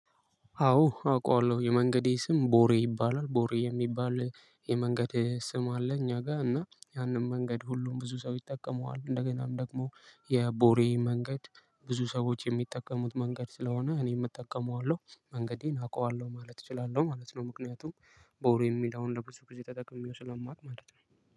አዎ አውቃለሁ የመንገዴ ስም ቦሬ ይባላል ቦሬ የሚባል የመንገድ ስም አለ እኛ ጋር እና ያንን መንገድ ሁሉም ብዙ ሰው ይጠቀመዋል እንደገናም ደግሞ የቦሬ መንገድ ብዙ ሰዎች የሚጠቀሙት መንገድ ስለሆነ እኔም እጠቀመዋለሁ መንገዴን አውቀዋለሁ ማለት እችላለሁ ማለት ነው። ምክንያቱም ቦሬ የሚለውን ለ ብዙ ጊዜ ተጠቅሜው ስለማቅ ማለት ነው።